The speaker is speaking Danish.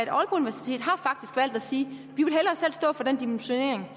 sige at stå for den dimensionering